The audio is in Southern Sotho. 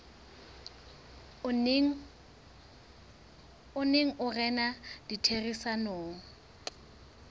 o neng o rena ditherisanong